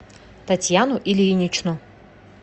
татьяну ильиничну